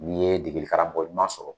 N'i ye degeli karamɔgɔ ɲuman sɔrɔ